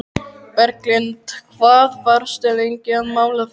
Berglind: Hvað varstu lengi að mála það?